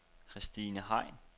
Kristine Hein